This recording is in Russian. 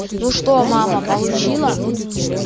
ну что мама получила